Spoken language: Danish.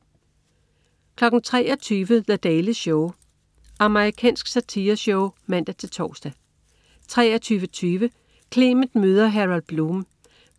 23.00 The Daily Show. Amerikansk satireshow (man-tors) 23.20 Clement møder Harold Bloom.